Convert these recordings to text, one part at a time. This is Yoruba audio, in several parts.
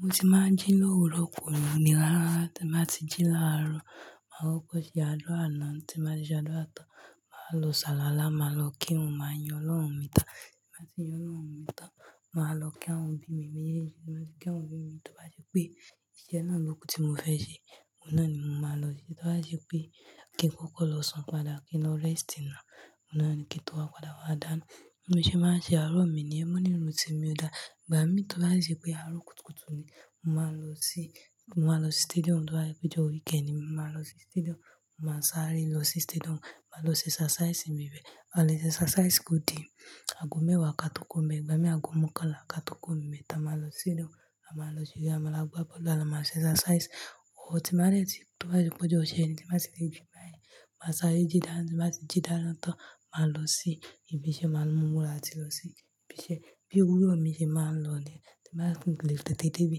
Mi tí màá jí lówúrọ̀ kò ní nira rára. Tí n bá ti jí láàrọ̀, màá kokò ṣé àdúrà náà tí n màá ti ṣe àdúrà tán, màá lọ ṣàluwalà, màá lọ kírun, màá yin Ọlọ́run mi tán. Tí n bàá ti yin Ọlọ́run mi tán, màá lọ kí àwọn òbí mi méjèèjì, kí àwọn òbí mi tó bá ṣe pé iṣẹ́ náà ló kú tí mo fẹ́ ṣe, ọ̀hun naà ni mo máa lọ. Tí ó bá ṣe pé kí n kọ́kọ́ lọ sun padà, kí n lọ rest naa, nà ni kí n tó wá padà wá dáná. Bi mo ṣẹ́ màá n ṣe àárọ̀ mi niyẹn mọ̀ ní mo tí mi ò dá. Ìgbà mi tó bá ṣe pé àárọ̀ kùtùkùtù ni, màá lọ sí, màá lọ sí stadium tó bá je péjọ́ weekend ni, màá lọ sí stadium, màá sáré lọ sí stadium, màá lọ ṣe exercise mi bẹ́ẹ̀. À lé ṣe exercise kò di, aago mẹ́wàá ká tó kúro nbe, ìgbà mí aago mọ́kànlá ká tó kúro nbe. Ta màá lọ sí ile, a màá lọ gbá bọ́ọ̀lù, a lomàá ṣe exercise. Ohun tí n bá dẹ ti tó bá ṣe pé ọjọ́ ìṣẹ́ ni, tí màá ṣe dé ibi báyìí, màá sáré jí dàá, tí màá ti jí dàá tán, màá lọ sí ibi iṣẹ́, màá mú múra latí lọ sí ibi iṣẹ́. Bí òwúrọ̀ mi ṣe máa ń lọ ni, tí màá ń gbìn gílíìtì tètè bí,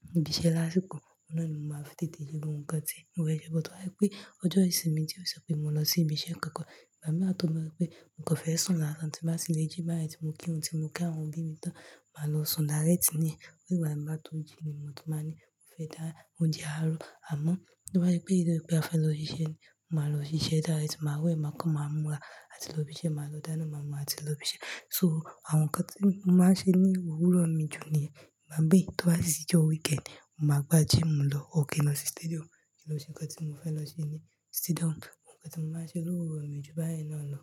mo debi iṣẹ́ lásìkò, ọ̀hun naà ni mo máa ń tètè lo ohun kan ti. Ewẹ́e to ba jẹ́ wipé ọjọ́ ìṣinmi to ṣe pé mo lọ sí ibi iṣẹ́ kankan, ìgbà míiran tó je pé mokan fẹ́ sun láàárọ̀ tí màá tì le jí báyìí, tí mo kírun, tí mo kí àwọn òbí mi tán, màá lọ sùn dárẹ́tì ni. Nìgbà mi bá tó jí ni mo tó máa ní mo fẹ́ dána ounje àárọ̀. Àmọ́, bó bá jẹ́ pé eleyii pé a fẹ́ lọ sí iṣẹ́ ni, màá lọ sí iṣẹ́ dárẹ́tì, màá wẹ́ ẹ màá kan màá múra àti lọ ibi iṣẹ́, màá lọ dáná màá múra àti lọ ibi iṣẹ́. So, àwọn nǹkan tí mo máa ń ṣe ní òwúrọ̀ mi jù ni, àbí tó bá sì je weekend ni, mo máa gbá gym lọ or ki n lọ sí stadium. Lo ṣe nǹkan tí mo fẹ́ lọ ṣe ní stadium? Òhun tí mo máa ń ṣe lówúrọ̀ mi o ju báyen náà lọ.